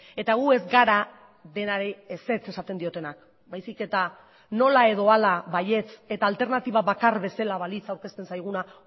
eta gu ez gara denari ezetz esaten diotenak baizik eta nola edo hala baietz eta alternatiba bakar bezala balitz aurkezten zaiguna